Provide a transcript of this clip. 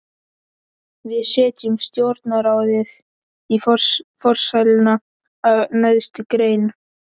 Við setjum stjórnarráðið í forsæluna af neðstu grein.